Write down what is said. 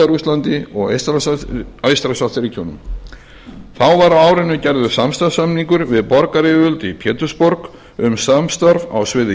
rússlandi og eystrasaltsríkjunum þá var á árinu gerður samstarfssamningur við borgaryfirvöld í pétursborg um samstarf á sviði